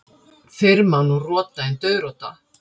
Fyrr má nú rota en dauðrota.